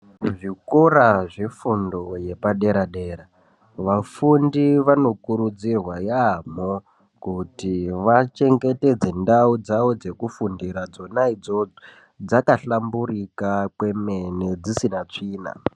Kuzvikora zvefundo yepadera dera vafundi vanokurudzirwa yaambo kuti vachengetedze ndau dzawo dzekufundira dzona idzodzo dzakahlamburika kwemene dzisina tsvina.